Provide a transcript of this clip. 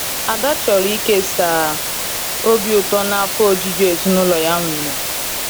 Ada chọrọ ịkesa obi ụtọ na afọ ojuju ezinụlọ ya nwere.